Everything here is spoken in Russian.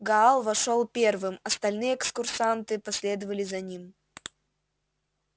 гаал вошёл первым остальные экскурсанты последовали за ним